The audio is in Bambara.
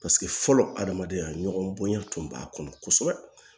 Paseke fɔlɔ adamadenya ɲɔgɔn bonya tun b'a kɔnɔ kosɛbɛ